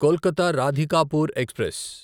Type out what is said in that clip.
Kolkata Radhikapur express